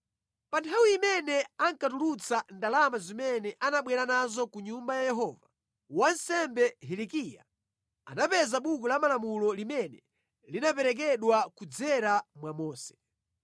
Pa nthawi imene ankatulutsa ndalama zimene anabwera nazo ku Nyumba ya Yehova, wansembe Hilikiya anapeza Buku la Malamulo limene linaperekedwa kudzera mwa Mose.